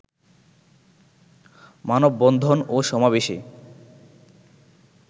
মানববন্ধন ও সমাবেশে